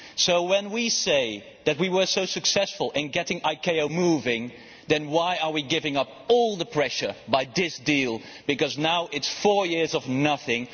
So when we say that we were so successful in getting ICAO moving, then why are we giving up all the pressure through this deal, because now there is four years of nothing?